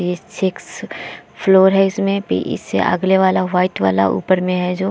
ये six floor है। इसमें भी इससे अगले वाला वाइट वाला ऊपर में है जो --